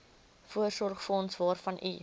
voorsorgsfonds waarvan u